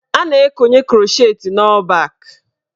A na-ekonye krọchet n' ọ́ọ̀ bak.